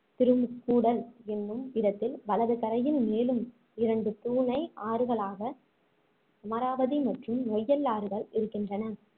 திருமுக்கூடல் என்னும் இடத்தில் வலது கரையில் மேலும் இரண்டு தூணை ஆறுகளாக அமராவதி மற்றும் நொய்யல் ஆறுகள் இருக்கின்றன